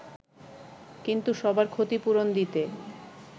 কিন্তু সবার ক্ষতিপূরণ দিতে